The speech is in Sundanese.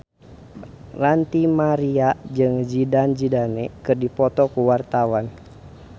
Ranty Maria jeung Zidane Zidane keur dipoto ku wartawan